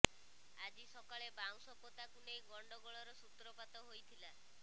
ଆଜି ସକାଳେ ବାଉଁଶ ପୋତାକୁ ନେଇ ଗଣ୍ଡଗୋଳର ସୂତ୍ରପାତ ହୋଇଥିଲା